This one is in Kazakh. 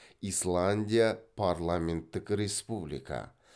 исландия парламенттік республика